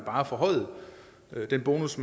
bare forhøjede den bonus